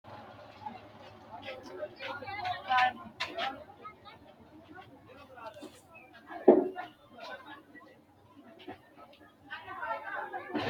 mayra biiffinote misile? kuri qole maa leellishannoreeti? kuulu kuni hiittooho biifannoho tenne misilehu? uullaanni noori maati? kuni kaartu maa leellishshannoho